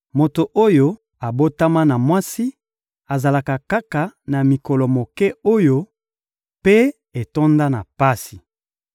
Moto oyo abotama na mwasi azalaka kaka na mikolo moke oyo mpe etonda na pasi.